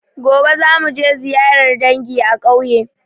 Gobe za muje ziyarar dangi a ƙauye